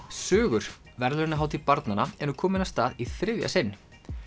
sögur verðlaunahátíð barnanna er nú komin af stað í þriðja sinn